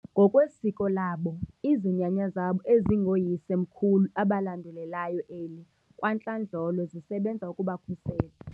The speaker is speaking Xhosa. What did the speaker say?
Ngokwesiko labo, izinyanya zabo ezingooyise mkhulu abalandulelayo eli kwantlandlolo zisebenza ukubakhusela.